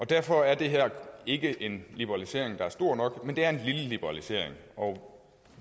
derfor er det her ikke en liberalisering der er stor nok men det er en lille liberalisering og